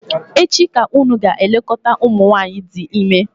echi ka unu ga-elekọta umunwanyi di ime!